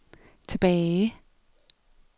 tilbage